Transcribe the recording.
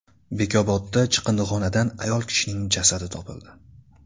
Bekobodda chiqindixonadan ayol kishining jasadi topildi.